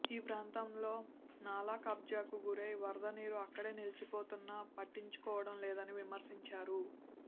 ఈ ప్రాంతంలో నాలా కబ్జాకు గురై వరదనీరు అక్కడే నిలిచిపోతున్నా పట్టించుకోవటం లేదని విమర్శించారు